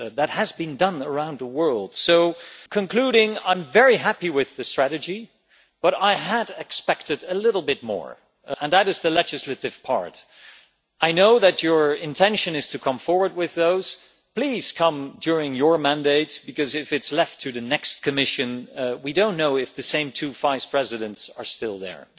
That has been done the around the world So concluding, I'm very happy with the strategy, but I had expected a little bit more on the legislative part. I know that your intention is to come forward with those, please do so during your mandate because if it is left to the next Commission we don't know if the same two vice presidents will still be still there.